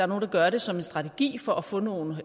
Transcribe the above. nogle der gør det som en strategi for at få nogle